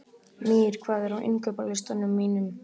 Mír, hvað er á innkaupalistanum mínum?